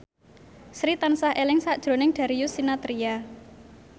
Sri tansah eling sakjroning Darius Sinathrya